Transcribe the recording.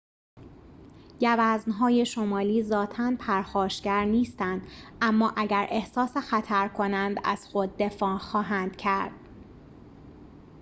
گوزن‌های شمالی ذاتاً پرخاشگر نیستند اما اگر احساس خطر کنند از خود دفاع خواهند کرد